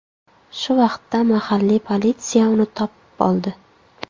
Shu vaqtda mahalliy politsiya uni topib oldi.